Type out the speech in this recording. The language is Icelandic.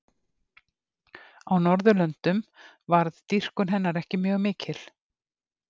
Á Norðurlöndum varð dýrkun hennar ekki mjög mikil.